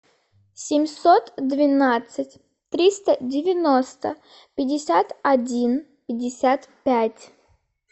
семьсот двенадцать триста девяносто пятьдесят один пятьдесят пять